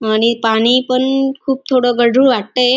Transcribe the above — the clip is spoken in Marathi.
आणि पाणी पण खूप थोडं गढूळ वाटतय.